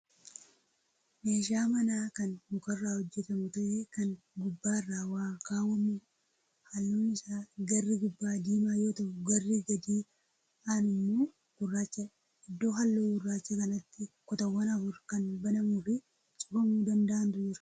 Meeshaa manaa Kan mukarraa hojjatamu ta'ee kan gubbaarra waa kaawwamuudha. halluun Isaa garri gubbaa diimaa yoo ta'u garri gadi aanu immoo gurraachadha. iddoo halluu gurraachaa kanatti kutaawwan afur Kan banamuufi cufamuu danda'antu jira.